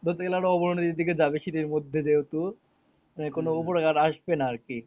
বলতে গেলে আরও অবনতির দিকে যাবে শীতের মধ্যে যেহেতু মানে কোনো উপকার আসবে না আরকি